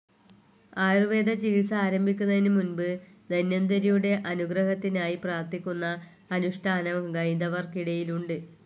ആയൂർവേദചികിത്സ ആരംഭിക്കുന്നതിനു മുൻപ് ധന്വന്തരിയുടെ അനുഗ്രഹത്തിനായി പ്രാർത്ഥിക്കുന്ന അനുഷ്ഠാനം ഹൈന്ദവർക്കിടയിലുണ്ട്.